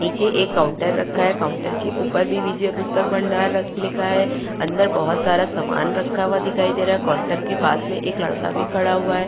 नीचे एक काउंटर रखा है। काउंटर के ऊपर भी विजय पुस्तक भंडार लिखा है। अंदर बोहोत सारा सामान रखा हुआ दिखाई दे रहा है। काउंटर के पास में एक लड़का भी खड़ा हुआ है।